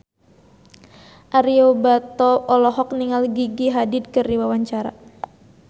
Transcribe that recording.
Ario Batu olohok ningali Gigi Hadid keur diwawancara